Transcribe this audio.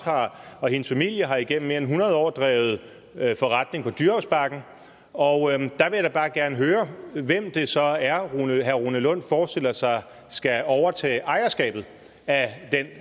og hendes familie har igennem mere end hundrede år drevet forretning på dyrehavsbakken og jeg vil da bare gerne høre hvem det så er herre rune lund forestiller sig skal overtage ejerskabet af den